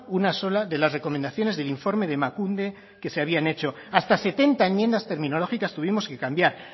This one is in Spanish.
una sola de las recomendaciones del informe de emakunde que se habían hecho hasta setenta enmiendas terminológicas tuvimos que cambiar